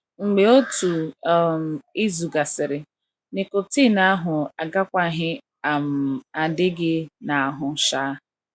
Mgbe otu um izu gasịrị, nicotine ahụ agakwaghị um adị gị n’ahụ. um